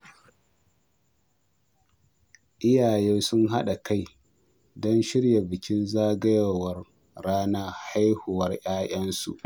Iyaye sun haɗa kai don shirya bukin zagayowar ranar haihuwar 'ya'yansu.